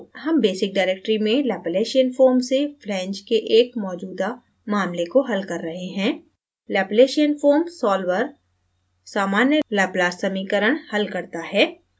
हम basic directory में laplacianfoam से flange के एक मैजूदा मामले को हल कर रहे हैं